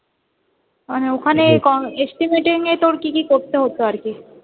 মানে ওখানে estimate এর নিয়ে কি কি করতে হত আর কি?